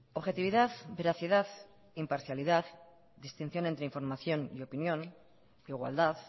objetividad veracidad imparcialidad distinción entre información y opinión igualdad